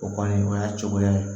O kɔni o y'a cogoya ye